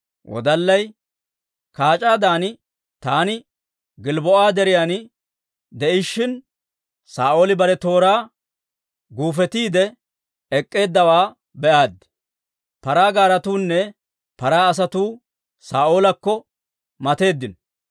Wodallay, «kaac'aadan taani Gilbboo'a deriyaan de'ishshin, Saa'ooli bare tooraa guufetiide ek'k'eeddawaa be'aaddi; paraa gaaretuunne paraa asatuu Saa'oolakko matatteeddino.